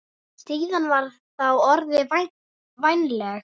Staðan var þá orðin vænleg.